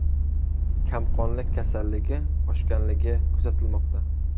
Kamqonlik kasalligi oshganligi kuzatilmoqda.